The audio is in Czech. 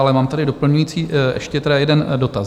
Ale mám tady doplňující, ještě tedy jeden dotaz.